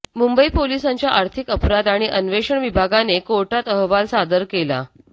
मुंबई पोलिसांच्या आर्थिक अपराध आणि अन्वेषण विभागाने कोर्टात अहवाल सादर केला